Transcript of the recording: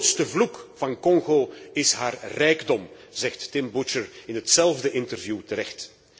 De grootste vloek van Congo is haar rijkdom, zegt Tim Butcher in hetzelfde interview terecht.